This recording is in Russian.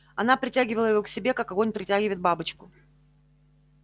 она притягивала его к себе как огонь притягивает бабочку